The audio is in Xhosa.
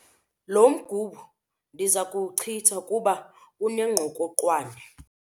Lo mgubo ndiza kuwuchitha kuba unengqokoqwane.